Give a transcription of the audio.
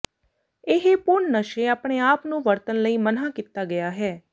ਇਹ ਪੂਰਨ ਨਸ਼ੇ ਆਪਣੇ ਆਪ ਨੂੰ ਵਰਤਣ ਲਈ ਮਨ੍ਹਾ ਕੀਤਾ ਗਿਆ ਹੈ